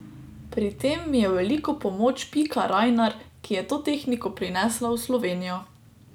Pri tem mi je v veliko pomoč Pika Rajnar, ki je to tehniko prinesla v Slovenijo.